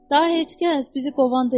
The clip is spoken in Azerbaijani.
Daha heç kəs bizi qovan deyil.